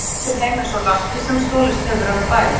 Hann verður sendur heim eins og rakki sem stolist hefur af bæ.